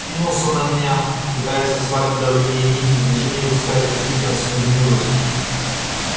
кинулся на меня пытаясь ослабить давление нити в движении выпуская клыки и трансформируясь